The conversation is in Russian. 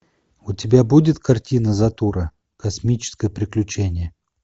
у тебя будет картина затура космическое приключение